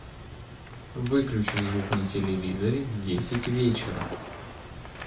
выключи звук на телевизоре в десять вечера